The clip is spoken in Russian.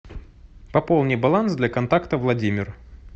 пополни баланс для контакта владимир